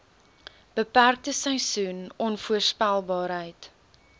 beperkte seisoen onvoorspelbaarheid